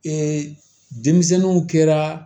denmisɛnninw kɛra